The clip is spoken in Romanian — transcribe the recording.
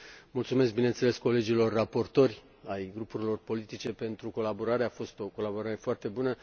Mulțumesc, bineînțeles, colegilor raportori ai grupurilor politice pentru colaborare, a fost o colaborare foarte bună.